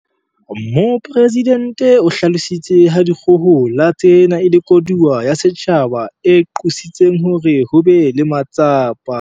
Mopresidente o hlalositse ha dikgohola tsena e le koduwa ya setjhaba e qositseng hore ho be le matsapa.